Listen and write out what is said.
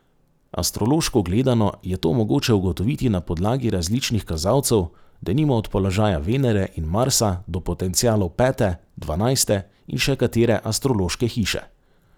Astrološko gledano, je to mogoče ugotoviti na podlagi različnih kazalcev, denimo od položaja Venere in Marsa do potencialov pete, dvanajste in še katere astrološke hiše.